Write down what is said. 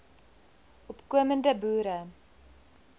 opko mende boere